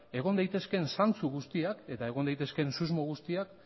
egon daitezkeen zantzu guztiak eta egon daitezkeen susmo guztiak